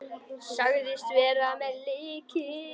Sagðist vera með lykil.